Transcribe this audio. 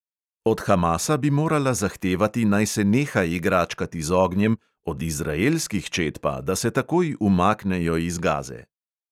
Od hamasa bi morala zahtevati, naj se neha igračkati z ognjem, od izraelskih čet pa, da se takoj umaknejo iz gaze.